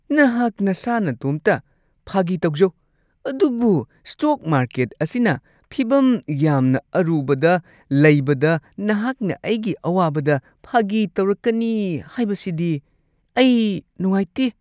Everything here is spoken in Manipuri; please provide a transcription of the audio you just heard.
ꯅꯍꯥꯛ ꯅꯁꯥ ꯅꯇꯣꯝꯇ ꯐꯥꯒꯤ ꯇꯧꯖꯧ ꯑꯗꯨꯕꯨ ꯁ꯭ꯇꯣꯛ ꯃꯥꯔꯀꯦꯠ ꯑꯁꯤꯅ ꯐꯤꯚꯝ ꯌꯥꯝꯅ ꯑꯔꯨꯕꯗ ꯂꯩꯕꯗ ꯅꯍꯥꯛꯅ ꯑꯩꯒꯤ ꯑꯋꯥꯕꯗ ꯐꯥꯒꯤ ꯇꯧꯔꯛꯀꯅꯤ ꯍꯥꯏꯕꯁꯤꯗꯤ ꯑꯩ ꯅꯨꯡꯉꯥꯏꯇꯦ꯫